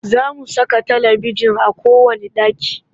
Za mu saka talibijin a kowanne ɗaki